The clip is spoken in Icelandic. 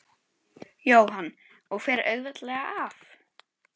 Jóhann: Og fer auðveldlega af?